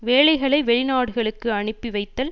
வேலைகளை வெளிநாடுகளுக்கு அனுப்பி வைத்தல்